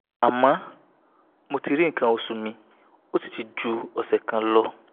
àmọ́ mo ti ri nkan oṣu mi ó sì ti ju ose kan lọ